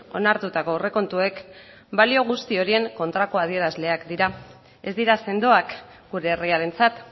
onartutako aurrekontuek balio guzti horien kontrako adierazleak dira ez dira sendoak gure herriarentzat